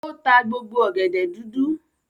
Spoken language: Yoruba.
O ta gbogbo ọ̀gẹ̀dẹ̀ dúdú.